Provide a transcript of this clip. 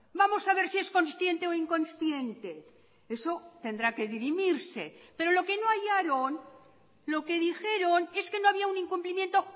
vamos a ver si es consciente o inconsciente eso tendrá que dirimirse pero lo que no hallaron lo que dijeron es que no había un incumplimiento